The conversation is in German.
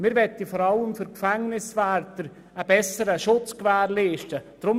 Wir möchten vor allem für die Gefängniswärter einen besseren Schutz gewährleisten.